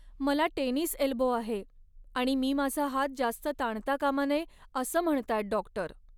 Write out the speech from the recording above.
मला tennis elbow आहे आणि मी माझा हात जास्त ताणता कामा नये असं म्हणतायेत डॉक्टर.